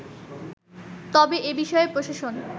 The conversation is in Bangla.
তবে এ বিষয়ে প্রশাসন